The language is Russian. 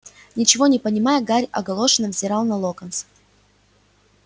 ничего не понимая гарри огорошенно взирал на локонса